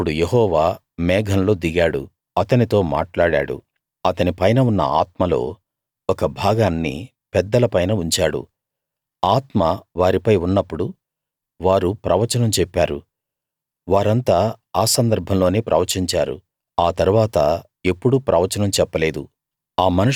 అప్పుడు యెహోవా మేఘంలో దిగాడు అతనితో మాట్లాడాడు అతని పైన ఉన్న ఆత్మలో ఒక భాగాన్ని పెద్దల పైన ఉంచాడు ఆత్మ వారిపై ఉన్నప్పుడు వారు ప్రవచనం చెప్పారు వారంతా ఆ సందర్భంలోనే ప్రవచించారు ఆ తరువాత ఎప్పుడూ ప్రవచనం చెప్పలేదు